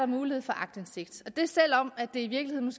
mulighed for aktindsigt det er der selv om det i virkeligheden